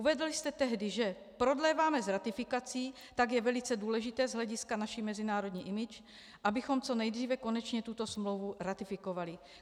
Uvedl jste tehdy, že prodléváme s ratifikací, tak je velice důležité z hlediska naší mezinárodní image, abychom co nejdříve konečně tuto smlouvu ratifikovali.